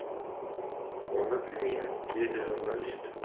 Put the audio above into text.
оны білмеймін деді журналист